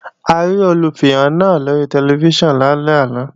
A rí Olùfihàn náà lóri tẹlifíṣàn lálẹ́ àná